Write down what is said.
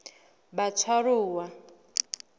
batshwaruwa